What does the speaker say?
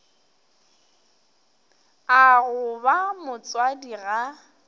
a go ba motswadi ga